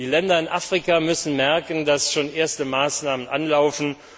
Die Länder in Afrika müssen merken, dass schon erste Maßnahmen anlaufen.